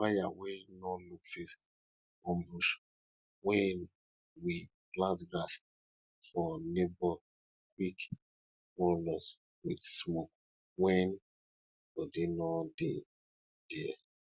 fire wey no look face burn bush wey we plant grass for neighbor quick warn us with smoke when body no dey there